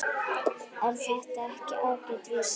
Er þetta ekki ágæt vísa?